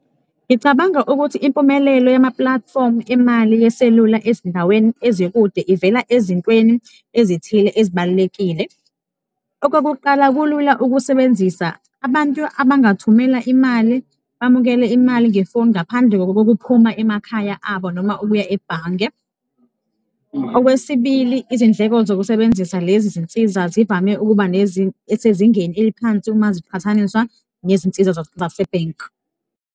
Ngicabanga ukuthi impumelelo yama-platform emali yeselula ezindaweni ezikude ivela ezintweni ezithile ezibalulekile. Okokuqala, kulula ukusebenzisa abantu abangathumela imali, bamukele imali ngefoni ngaphandle kokokuphuma emakhaya abo noma ukuya ebhange. Okwesibili, izindleko zokusebenzisa lezi zinsiza zivame ukuba sezingeni eliphansi uma ziqhathaniswa nezinsiza zase-bank.